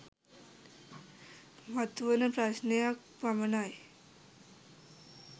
මතුවන ප්‍රශ්ණයක් පමණයි